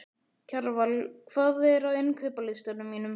Kjarval, hvað er á innkaupalistanum mínum?